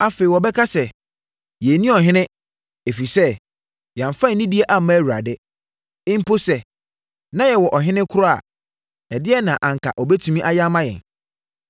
Afei, wɔbɛka sɛ, “Yɛnni ɔhene, ɛfiri sɛ, yɛamfa anidie amma Awurade. Mpo sɛ na yɛwɔ ɔhene kora a, ɛdeɛn na anka ɔbɛtumi ayɛ ama yɛn?”